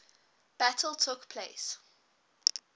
battle took place